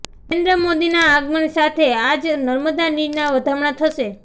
નરેન્દ્ર મોદીના આગમન સાથે આજ નર્મદા નીરના વધામણાં થશે